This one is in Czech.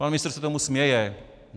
Pan ministr se tomu směje.